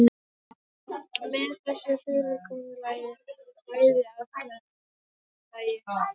Með þessu fyrirkomulagi höfðu bæði atkvæði kjörmanna vægi.